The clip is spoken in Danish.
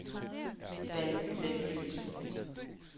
Valby Vanløse